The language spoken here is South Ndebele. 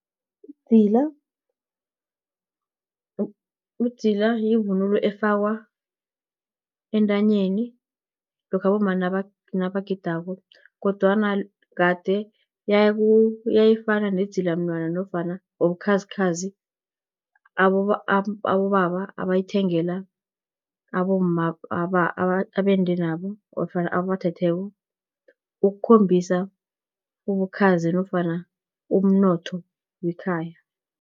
Idzila, yivunulo efakwa entanyeni, lokha abomma nabagidako, kodwana kade yayifana nedzilamnwana, nofana nobukhazikhazi abobaba abayithengela abomma abende nabo, ofana ababathetheko, ukukhombisa ubukhazi, nofana umnotho wekhaya.